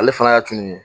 Ale fana y'a tunu ye